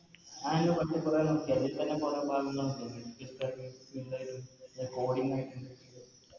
മറ്റെ Coding